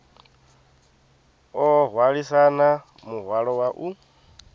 o hwalisana muhwalo wa u